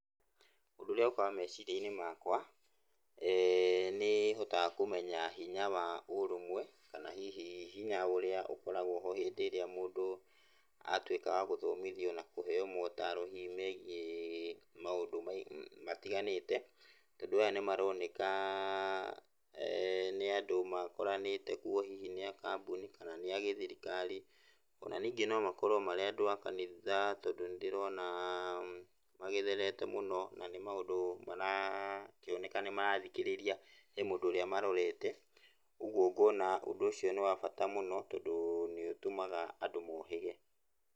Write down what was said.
Ũndũ ũrĩa ũkaga meciria-inĩ makwa, nĩhotaga kũmennya hinya wa ũrũmwe, kana hihi hinya ũrĩa ũkoragwo ho hĩndĩ ĩrĩa mũndũ atuĩka wa gũthomithio na kũheo motaro hihi megiĩ maũndũ matiganĩte, tondũ aya nĩmaroneka nĩ andũ makoranĩte kuo hihi nĩa kambũni, kana nĩa gĩthirikari, ona ningĩ no makorwo marĩ aandũ a kanitha, tondũ nĩndĩrona magĩtherete mũno, na nĩ maũndũ marakĩoneka nĩmarathikĩrĩria. He mũndũ ũrĩa marorete, ũguo ngona ũndũ ũcio nĩ wa bata mũno tondũ nĩũtũmaga andũ mohĩge.